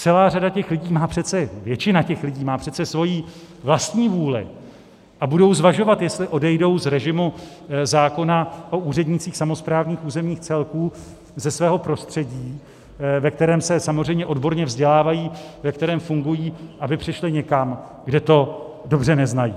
Celá řada těch lidí má přece, většina těch lidí má přece svoji vlastní vůli a budou zvažovat, jestli odejdou z režimu zákona o úřednících samosprávných územních celků, ze svého prostředí, ve kterém se samozřejmě odborně vzdělávají, ve kterém fungují, aby přešli někam, kde to dobře neznají.